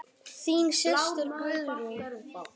Þín systir Sigrún.